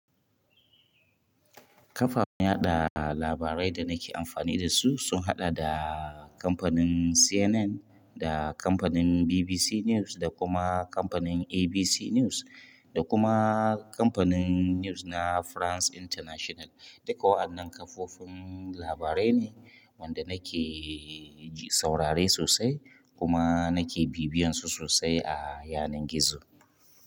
Ƙafa na da labaren da na ke amfane da su, sun haɗa da kamfani CNN. Da kamfani BBC News, da kuma kamfani ABC News, da kuma kamfani News na France international. Duka waɗannan kafofin labarai ne wanda nake saurare sosai kuma nake bibiyan su sosai a yanar gizo.